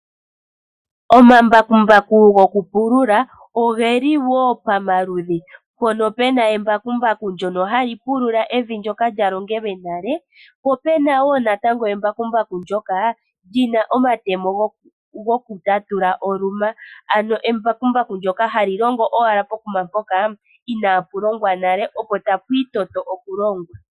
Omambakumbaku goku pulula ogeli wo pamaludhi mpono pena embakumbaku ndjono hali pulula evi ndjoka lya longelwe nale po pena wo embakumbaku ndjoka lina omatemo haga papula oluma ano embakumbaku ndjoka hali longo owala pokuma mpoka inaapu longwa nale opo tapu itotwa okulongwa.